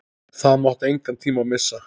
Það mátti engan tíma missa.